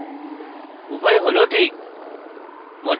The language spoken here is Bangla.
উভয় হল ঠিক